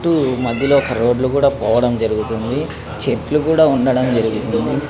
చుట్టూ మధ్య లో రోడ్లు కూడా పోవడం జరుగుతోంది చెట్లు కూడా ఉండడం జరిగింది.